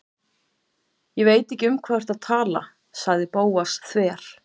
Ég veit ekki um hvað þú ert að tala- sagði Bóas þver